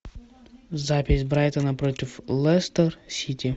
запись брайтона против лестер сити